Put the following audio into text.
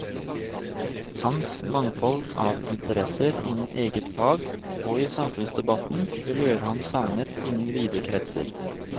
Hans mangfold av interesser innen eget fag og i samfunnsdebatten vil gjøre ham savnet innen vide kretser.